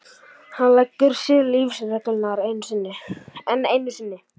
Hann leggur sér lífsreglurnar enn einu sinni.